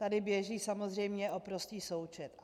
Tady běží samozřejmě o prostý součet.